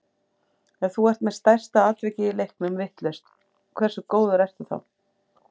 Ef þú ert með stærsta atvikið í leiknum vitlaust, hversu góður ertu þá?